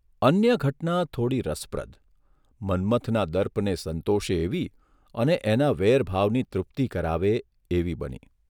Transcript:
અન્ય ઘટના થોડી રસપ્રદ મન્મથના દર્પને સંતોષે એવી અને એના વેરભાવની તૃપ્તિ કરાવે એવી બની.